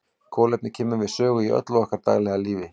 Kolefni kemur við sögu í öllu okkar daglega lífi.